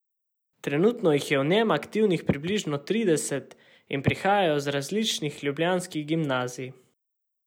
Trenutno jih je v njem aktivnih približno trideset in prihajajo z različnih ljubljanskih gimnazij.